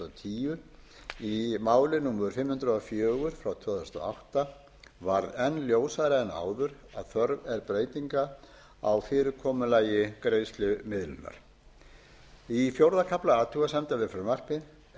tíu í máli númer fimm hundruð og fjögur tvö þúsund og átta varð enn ljósara en áður að þörf er breytingar á fyrirkomulagi greiðslumiðlunar í fjórða kafla athugasemda við frumvarpið er